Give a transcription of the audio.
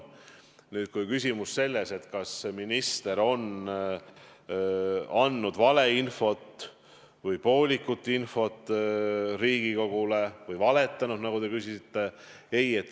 Nüüd küsimus, kas minister on andnud valeinfot, poolikut infot või Riigikogule otse valetanud, nagu te küsisite.